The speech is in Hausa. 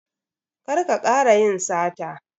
Kar ka kara yin sata.